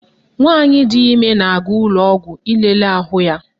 Nwaanyị di ime na-aga ụlọọgwọ ilele ahụ ya